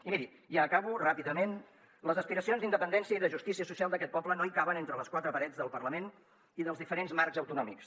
i miri i acabo ràpidament les aspiracions d’independència i de justícia social d’aquest poble no caben entre les quatre parets del parlament i dels diferents marcs autonòmics